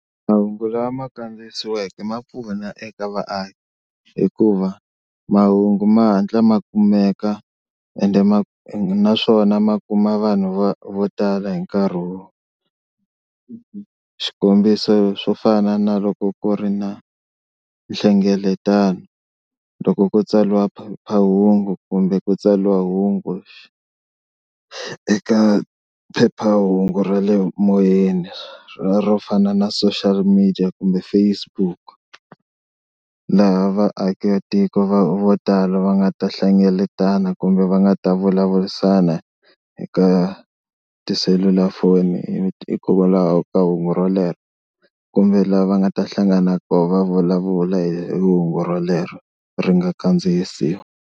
Mahungu lama kandziyisiweke ma pfuna eka vaaki hikuva mahungu ma hatla ma kumeka ende ma ende naswona ma kuma vanhu vo vo tala hi nkarhi wo, xikombiso swo fana naloko ku ri na nhlengeletano loko ku tsariwa phephahungu kumbe ku tsariwa hungu eka phephahungu ra le moyeni ra ro fana na social media kumbe Facebook, laha vaakatiko vo tala va nga ta hlengeletana kumbe va nga ta vulavurisana hi ka tiselulafoni hikwalaho ka hungu rolero kumbe lava nga ta hlangana koho va vulavula hi hungu rolero ri nga kandziyisiwa.